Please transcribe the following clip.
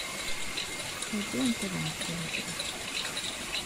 найди нтв на телевизоре